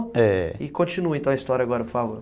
É. E continua então a história agora, por favor.